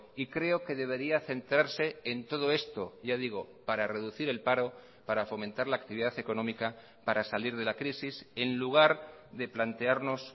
y creo que debería centrarse en todo esto ya digo para reducir el paro para fomentar la actividad económica para salir de la crisis en lugar de plantearnos